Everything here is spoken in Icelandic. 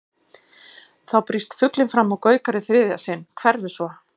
Þá brýst fuglinn fram og gaukar í þriðja sinn, hverfur svo.